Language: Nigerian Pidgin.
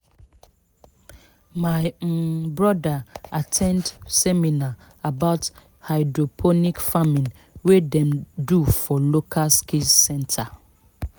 my um brother at ten d seminar about hydroponic farming wey dem do for local skills centre